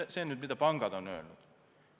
Nii on pangad meile öelnud.